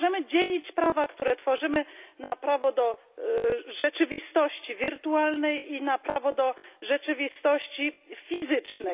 Nie możemy dzielić prawa, które tworzymy, na prawo do rzeczywistości wirtualnej i na prawo do rzeczywistości fizycznej.